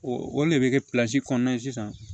O o le bɛ kɛ kɔnɔna ye sisan